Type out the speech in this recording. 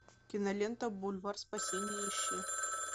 кинолента бульвар спасения ищи